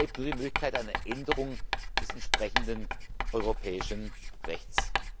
nutzen. Dann bleibt nur die Möglichkeit einer Änderung des entsprechenden europäischen